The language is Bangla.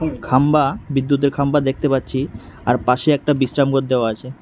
খাম্বা বিদ্যুতের খাম্বা দেখতে পাচ্ছি আর পাশে একটা বিশ্রাম ঘর দেওয়া আছে।